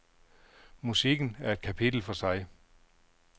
Musikken er et kapitel for sig.